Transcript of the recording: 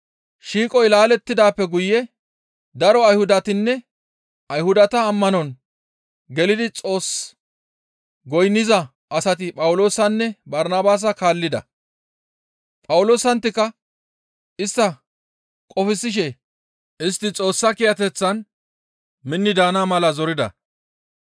Shiiqoy laalettidaappe guye daro Ayhudatinne Ayhudata ammanon gelidi Xoos goynniza asati Phawuloosanne Barnabaasa kaallida. Phawuloosanttika istta qofsishe istti Xoossa kiyateththan minni daana mala zorida.